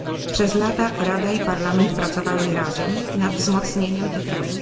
Przez lata Rada i Parlament pracowały razem nad wzmocnieniem tych ram.